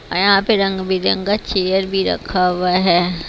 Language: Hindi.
अह यहां पे रंग बिरंगा चेयर भी रखा हुआ है।